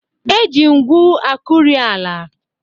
Eji ngwu akụri ala.